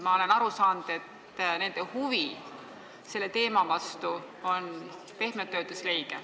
Ma olen aru saanud, et nende huvi selle teema vastu on pehmelt öeldes leige.